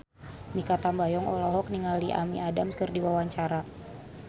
Mikha Tambayong olohok ningali Amy Adams keur diwawancara